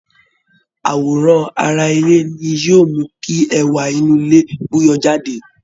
Àwòrán ara ilé ni yóò mú kí ẹwà inú ilé bú yọ jáde